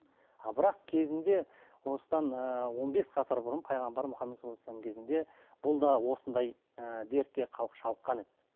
а бірақ кезінде осыдан ыыы он бес ғасыр бұрын пайғамбар мұхаммад кезінде бұл да осындай ыыы дертке шалдыққан еді